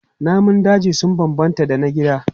Namun daji sun bambanta da na gida.